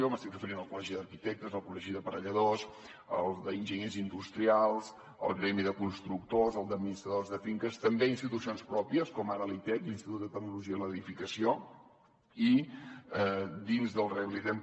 m’estic referint al col·legi d’arquitectes al col·legi d’aparelladors al d’enginyers industrials al gremi de constructors al d’administradors de finques també institucions pròpies com ara l’itec l’institut de tecnologia de la construcció i dins del rehabilitem